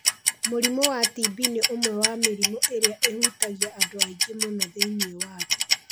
Mũrimũ wa TB nĩ ũmwe wa mĩrimũ ĩrĩa ĩhutagia andũ aingĩ mũno thĩinĩ wa thĩ.